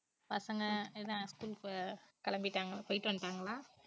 பசங்க என்ன school க்கு கெளம்பிட்டாங்க~ போயிட்டு வந்துட்டாங்களா